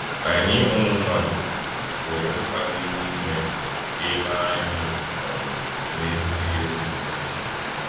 Anyị ụmụ mmadụ nwere mkpa dị n’ime ka e mee anyị um n’ezi omume.